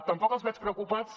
tampoc els veig preocupats